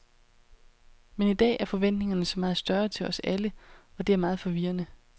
Men i dag er forventninger så meget større til os alle, og det er meget forvirrende.